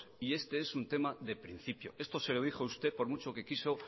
y este es un tema de principio esto se lo a dijo usted por mucho que quiso